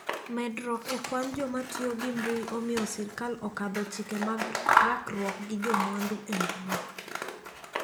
Medruok ekwan jokmatiyo gi mbui omiyo sirkal okadho chike mag rakruok gi jomaundu embui.